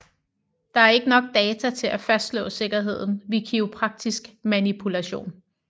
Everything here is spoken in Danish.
Der er ikke nok data til at fastslå sikkerheden ved kiropraktisk manipulation